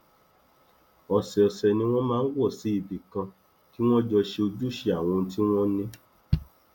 ọsọọsẹ ni wọn máa ń wọ sí ibi kan kí wọn jọ ṣe ojúṣe àwọn ohun tí wọn ní